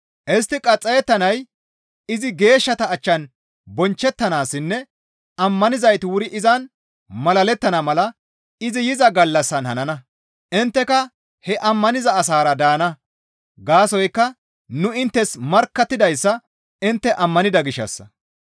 Istti qaxxayettanay izi geeshshata achchan bonchchettanaassinne ammanizayti wuri izan malalettana mala izi yiza gallassan hanana; intteka he ammaniza asaara daana; gaasoykka nu inttes markkattidayssa intte ammanida gishshassa.